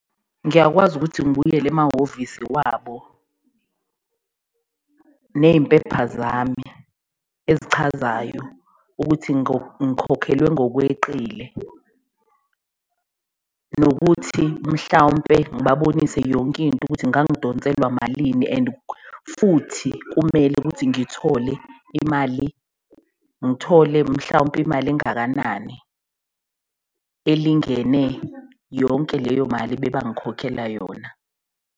Ngiyakwazi ukuthi ngibuyele emahhovisi wabo neyimpepha zami ezichazayo ukuthi ngikhokhelwe ngokweqile, nokuthi mhlawumpe ngibabonise yonkinto ukuthi ngangidonselwa malini. And futhi kumele ukuthi imali, ngithole mhlawumpe imali engakanani, elingene yonke leyo mali bebangikhokhela yona.